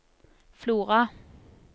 Flora